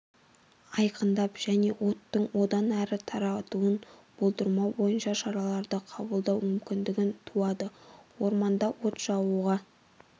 айқындап және оттың одан әрі таратуын болдырмау бойынша шараларды қабылдау мүмкіндігі туады орманда от жағуға